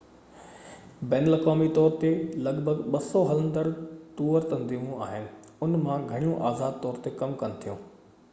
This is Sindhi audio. بين الاقوامي طور تي لڳ ڀڳ 200 هلندڙ ٽوئر تنظيمون آهن انهن مان گهڻيون آزاد طور تي ڪم ڪن ٿيون